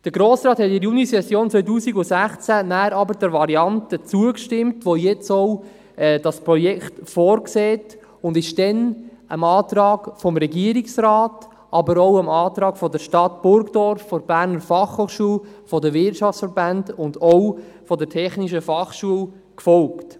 Der Grosse Rat hat in der Junisession 2016 dann aber der Variante zugestimmt, die jetzt auch das Projekt vorsieht, und ist damals dem Antrag des Regierungsrats, aber auch dem Antrag der Stadt Burgdorf, der BFH, der Wirtschaftsverbände und auch der Technischen Fachschule gefolgt.